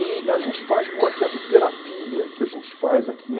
E a gente faz uma espécie de terapia que a gente faz aqui.